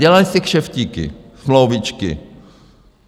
Dělaly se kšeftíky, smlouvičky.